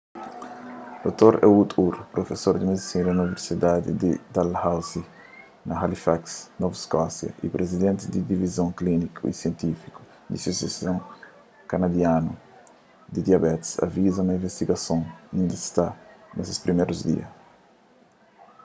dr ehud ur profesor di medisina na universidadi di dalhousie na halifax novu skósia y prizidenti di divizon klíniku y sientífiku di asosiason kanadianu di diabetis aviza ma investigason inda sta na se primérus dia